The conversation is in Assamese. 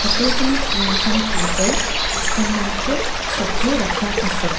হোটেলখনত তিনিখন টেবুল কেইখনমানকে চকী ৰখা আছে।